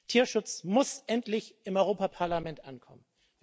Tierschutz muss endlich im Europäischen Parlament ankommen.